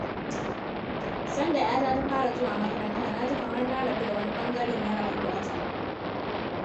Sanda ‘yata ta fara zuwa makaranta, na ji kamar na rabu da wani ɓangare na rayuwarta.